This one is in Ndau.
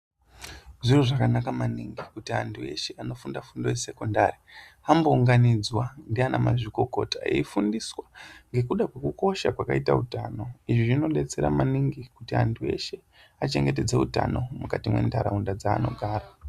Zviro zvakanaka maningi kuti antu eshe anofunda fundo yesekendari ,ambounganidzwa ndianamazvikokota eifundiswa, ngekuda kwekukosha kwaakaita utano. Izvi zvinodetsera maningi kuti antu eshe achengetedze utano mukati mwentaraunda dzaanogara .